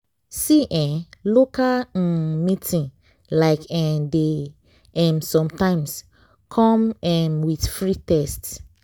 see eh local um meeting like eeh dey um sometimes come um with free test.